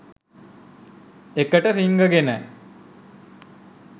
ඒකට රිංගගෙන